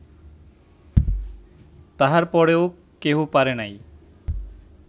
তাঁহার পরেও কেহ পারে নাই